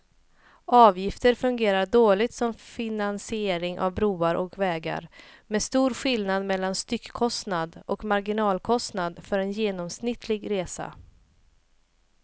Avgifter fungerar dåligt som finansiering av broar och vägar med stor skillnad mellan styckkostnad och marginalkostnad för en genomsnittlig resa.